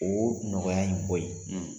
O nɔgɔya in bɔ yen